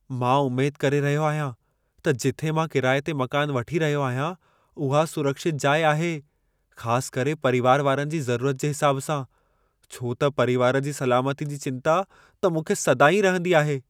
मां उमेद करे रहियो आहियां त जिथे मां किराए ते मकानु वठी रहियो आहियां उहा सुरक्षितु जाइ आहे ख़ासि करे परीवारु वारनि जी ज़रूरत जे हिसाबु सां , छो त परीवारु जी सलामती जी चिंता त मूंखे सदाईं रहंदी ई आहे।